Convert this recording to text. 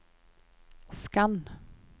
skann